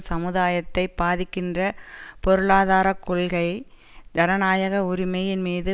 சமுதாயத்தை பாதிக்கின்ற பொருளாதார கொள்கை ஜனநாயக உரிமையின் மீது